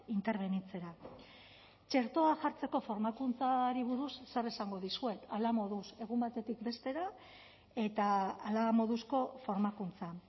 interbenitzera txertoa jartzeko formakuntzari buruz zer esango dizuet hala moduz egun batetik bestera eta hala moduzko formakuntza